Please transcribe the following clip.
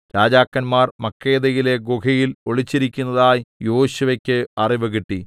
രാജാക്കന്മാർ മക്കേദയിലെ ഗുഹയിൽ ഒളിച്ചിരിക്കുന്നതായി യോശുവെക്ക് അറിവുകിട്ടി